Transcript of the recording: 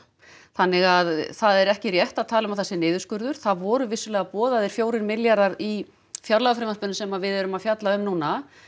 þannig að það er ekki rétt að tala um að það sé niðurskurður það voru vissulega boðaðir fjórir milljarðar í frumvarpinu sem við erum að fjalla um núna